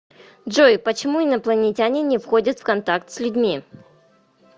джой почему инопланетяне не входят в контакт с людьми